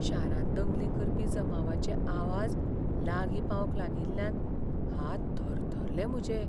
शारांत दंगली करपी जमावाचे आवाज लागीं पावंक लागिल्ल्यान हात थरथरले म्हजे.